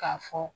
K'a fɔ